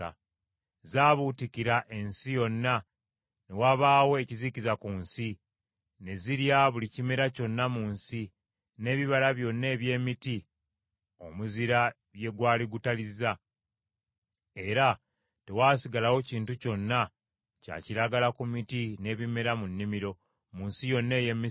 Zaabuutikira ensi yonna, ne wabaawo ekizikiza ku nsi; ne zirya buli kimera kyonna mu nsi, n’ebibala byonna eby’emiti omuzira bye gwali gutalizza; era tewaasigalawo kintu kyonna kya kiragala ku miti n’ebimera mu nnimiro, mu nsi yonna ey’e Misiri.